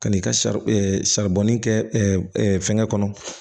Ka n'i ka sari saribɔnin kɛ fɛngɛ kɔnɔ